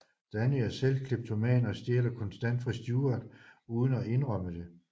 Danny er selv kleptoman og stjæler konstant fra Stewart uden at indrømme det